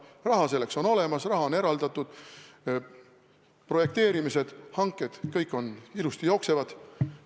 Raha selleks on olemas, raha on eraldatud, projekteerimised ja hanked kõik ilusasti jooksevad.